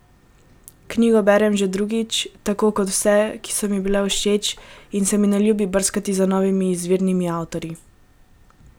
Knjigo berem že drugič, tako kot vse, ki so mi všeč, in se mi ne ljubi brskati za novimi izvirnimi avtorji.